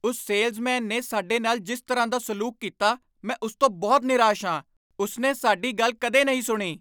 ਉਸ ਸੇਲਜ਼ਮੈਨ ਨੇ ਸਾਡੇ ਨਾਲ ਜਿਸ ਤਰ੍ਹਾਂ ਦਾ ਸਲੂਕ ਕੀਤਾ, ਮੈਂ ਉਸ ਤੋਂ ਬਹੁਤ ਨਿਰਾਸ਼ ਹਾਂ, ਉਸ ਨੇ ਸਾਡੀ ਗੱਲ ਕਦੇ ਨਹੀਂ ਸੁਣੀ।